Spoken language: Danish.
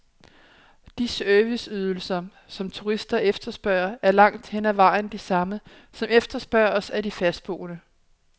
De serviceydelser, som turister efterspørger, er langt hen ad vejen de samme, som efterspørges af de fastboende.